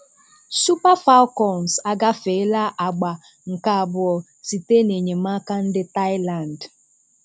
Super Falcons agàfèèlà àgbà nke abụọ site n’enyemàka ndị Thailand.